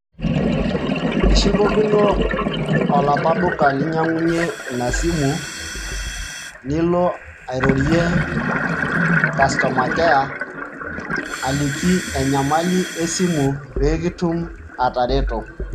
ishukokino olapa duka linyiangunyie ina simu nilo airorie customer care aliki enyamali esimu pekitum atareto.